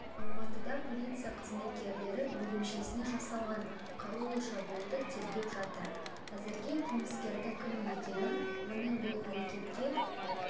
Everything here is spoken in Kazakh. алматыда полиция қызметкерлері бөлімшесіне жасалған қарулы шабуылды тергеп жатыр әзірге қылмыскердің кім екені оның бұл әрекетке